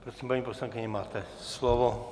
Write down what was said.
Prosím, paní poslankyně, máte slovo.